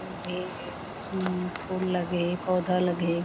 अउ ढेर फूल लगे हे पौधा लगे हे।